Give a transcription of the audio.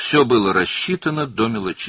Hər şey incəliklərinə qədər hesablanmışdı.